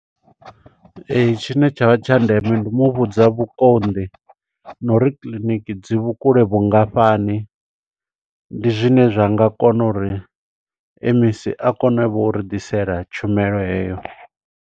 Ee, tshine tshavha tsha ndeme ndi u muvhudza vhukonḓi, na uri kiḽiniki dzi vhukule vhungafhani. Ndi zwine zwa nga kona uri M_E_C a kone vho u ri ḓisela tshumelo heyo.